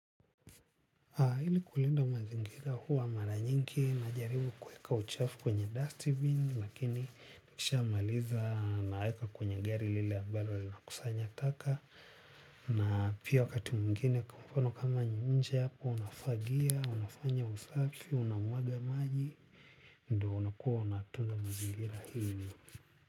Hili kulinda mazingira huwa mara nyingi najaribu kuweka uchafu kwenye Dustbin. Lakini nikishamaliza naweka kwenye gari lili ambalo linakusanya taka. Na pia wakati mwingine kwa mfano kama nje hapo nafagia, unafanya usafi, unamwaga maji. Ndo unakuwa unatunza mazingira ili.